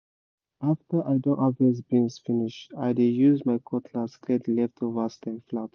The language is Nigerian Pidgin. after i don harvest beans finish i dey use my cutlass clear the leftover stem flat